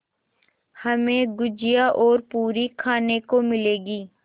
हमें गुझिया और पूरी खाने को मिलेंगी